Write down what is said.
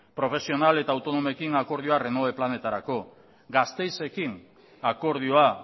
profesional eta autonomoekin akordioa renove planetarako gasteizekin akordioa